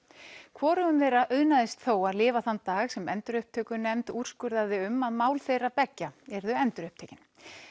hvorugum þeirra auðnaðist þó að lifa þann dag sem endurupptökunefnd úrskurðaði um að mál þeirra beggja yrðu endurupptekin